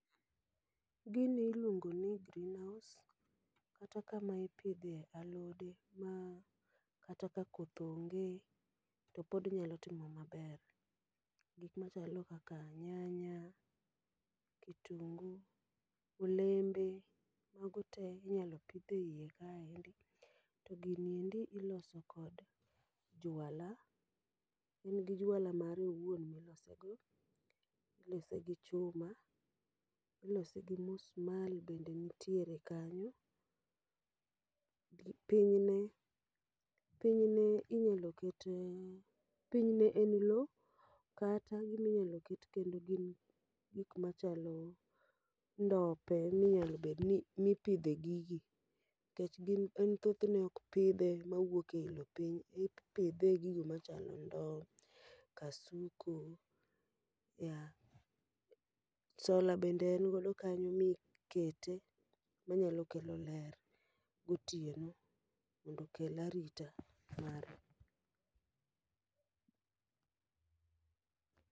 Gini iluongo ni greenhouse, kata kama ipidhe alode ma kata ka koth onge to pod nyalo timo maber. Gik machalo kaka nyanya, kitungu, olembe, mago te inyalo pidh e iye ka endi. To gini endi iloso kod juala, en gi juala mare owuon milose go. Ilose gi chuma, ilose gi musmal bende nitiere kanyo. Piny ne, piny ne inyalo kete, piny ne en lo kata giminyalo ket kendo gin gik machalo ndope minyalo bedni mi pidhe gigi. Kech gin en thothne ok pidhe mawuoke i lo piny, ipidhe e gigo machalo ndo, kasuku, ya. Sola bende en godo kanyo mikete ma nya kelo ler gotieno mondo okel arita mare.